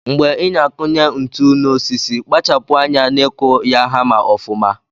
Mgbe ina akunye ntu na osisi kpachapu anya n'ikụ ya hama ọfuma.